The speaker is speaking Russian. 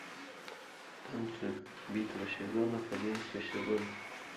танцы битва сезонов одиннадцатый сезон